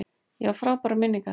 Ég á frábærar minningar.